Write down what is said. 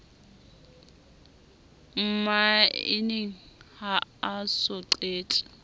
mmaeneng ha a so qete